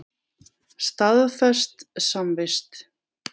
Staðfest samvist.